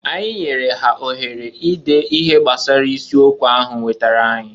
Anyị nyere ha ohere ide ihe gbasara isi okwu ahu wetara anyị.